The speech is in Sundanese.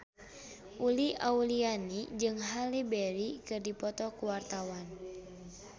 Uli Auliani jeung Halle Berry keur dipoto ku wartawan